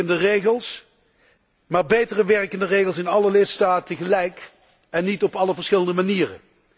Minder verstikkende regels, maar beter werkende regels in alle lidstaten gelijk en niet op allerlei verschillende manieren.